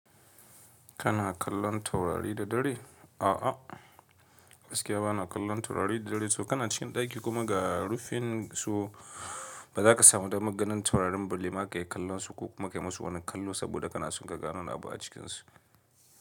Kana kallon taurari da dare? A'a, gaskiya bana kallon taurari da dare. To kana cikin ɗaki kuma ga rufin su ba za ka samu damar ganin taurarin balle ma ka ya kallon su ko kuma ka yi musu wani kallo saboda kana son ka ganowar abu a cikinsu.